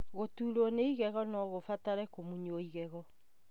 Gũturwo nĩ igego nogũbatare kũmunywo igego